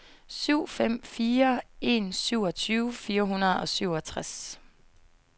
syv fem fire en syvogtyve fire hundrede og syvogtres